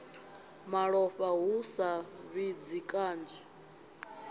malofha hu sa fhidzi kanzhi